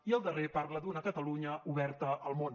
i el darrer parla d’una catalunya oberta al món